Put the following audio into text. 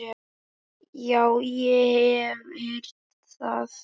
Já, ég hef heyrt það.